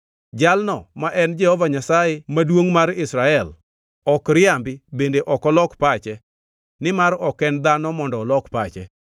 Jalno ma en Jehova Nyasaye Maduongʼ mar Israel ok riambi bende ok olok pache; nimar ok en dhano mondo olok pache.”